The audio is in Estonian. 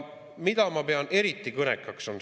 Mida ma pean eriti kõnekaks?